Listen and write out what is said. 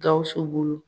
Gawusu bolo